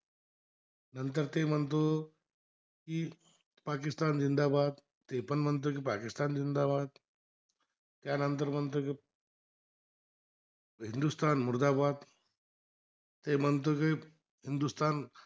पाकिस्तान जिंदाबा ते पण म्हणतो की पाकिस्तान जिंदाबाद त्यानंतर म्हणतो की हिंदुस्थान मुर्दाबाद ते म्हणतो की